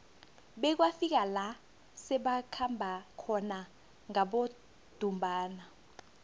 bekwafika la sebakhamba khona ngabodumbana